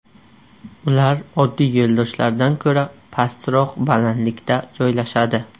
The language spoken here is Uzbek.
Ular oddiy yo‘ldoshlardan ko‘ra pastroq balandlikda joylashadi.